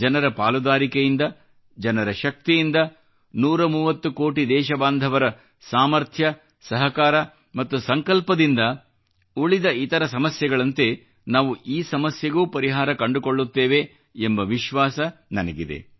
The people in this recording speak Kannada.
ಜನರ ಪಾಲುದಾರಿಕೆಯಿಂದ ಜನರ ಶಕ್ತಿಯಿಂದ 130 ಕೋಟಿ ದೇಶಬಾಂಧವರ ಸಾಮರ್ಥ್ಯ ಸಹಕಾರ ಮತ್ತು ಸಂಕಲ್ಪದಿಂದ ಉಳಿದ ಇತರ ಸಮಸ್ಯೆಗಳಂತೆ ನಾವು ಈ ಸಮಸ್ಯೆಗೂ ಪರಿಹಾರ ಕಂಡುಕೊಳ್ಳುತ್ತೇವೆ ಎಂಬ ವಿಶ್ವಾಸ ನನಗಿದೆ